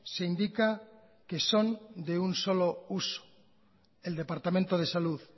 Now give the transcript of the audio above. se indica que son se un solo uso el departamento de salud